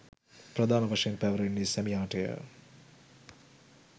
ප්‍රධාන වශයෙන් පැවරෙන්නේ සැමියාටය.